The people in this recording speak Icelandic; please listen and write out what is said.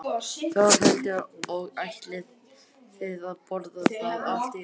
Þórhildur: Og ætlið þið að borða það allt í dag?